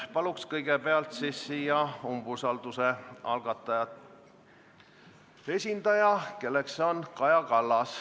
Palun kõigepealt siia umbusaldamise algatajate esindaja, kelleks on Kaja Kallas.